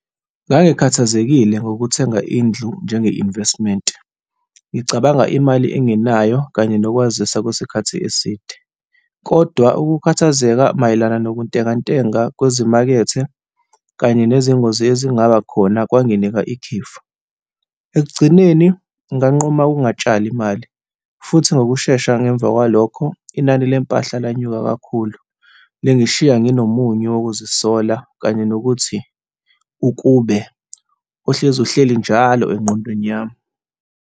Ngangiikhathazekile ngokuthenga indlu njenge-investment, ngicabanga imali enginayo kanye nokwazisa kwesikhathi eside, kodwa ukukhathazeka mayelana nokuntengantenga kwezimakethe kanye nezingozi ezingaba khona kwanginika ikhefu. Ekugcineni, nganquma ukungatshali imali futhi ngokushesha ngemva kwalokho inani le mpahla lanyuka kakhulu, lingishiya ngingomunye yokuzisola, kanye nokuthi, ukube. Kohlezi kuhleli nalo engqondweni yami.